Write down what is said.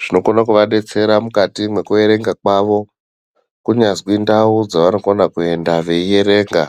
zvinokone kuvadetsera mukati mwekuerenga kwawo kunyazwi ndau dzavanokona kuenda veierenga.